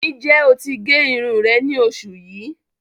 Níjẹ́ o tí gé irùn rẹ̀ ní oṣù yíí?